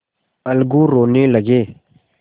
अलगू रोने लगे